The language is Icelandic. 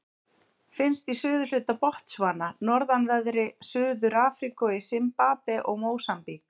Finnst í suðurhluta Botsvana, norðanverðri Suður-Afríku og í Simbabve og Mósambík.